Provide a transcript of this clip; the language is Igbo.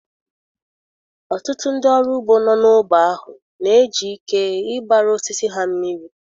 Ọtụtụ ndị ọrụ ugbo nọ n'ógbè ahụ na-eji ike ịgbara osisi ha mmiri.